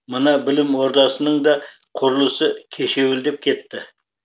мына білім ордасының да құрылысы кешеуілдеп кетті